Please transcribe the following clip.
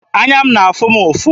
Anya na-afụ m ụfụ.